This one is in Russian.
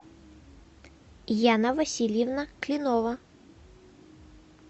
яна васильевна кленова